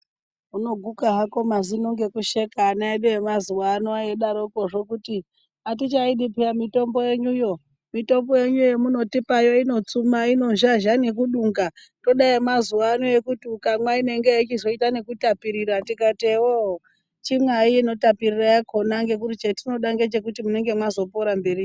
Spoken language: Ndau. Unoguka hako mazino ngekusheka ana edu emazuwano eidarokozvo kuti atichaidi peya mitombo yenyuyo , mitombo yenyu yamutipayo inotsuma inozhazha nekudunga toda yemazuwano yekuti ukamwa inenge yechizoita nekutapirira tikati ewo chimwayi inotapirira yakona ngekuti chatinoda ngechekuti munenge mwazopora mberiyo.